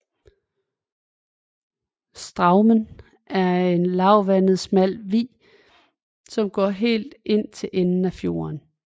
Straumen er en lavvandet smal vig som går helt ind til enden af fjorden